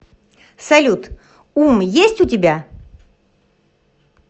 салют ум есть у тебя